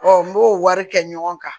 n b'o wari kɛ ɲɔgɔn kan